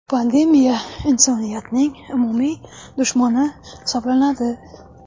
Pandemiya insoniyatning umumiy dushmani hisoblanadi.